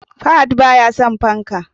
Fahad baya son fanka